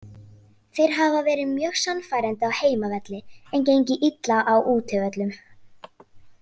Þeir hafa verið mjög sannfærandi á heimavelli en gengið illa á útivöllum.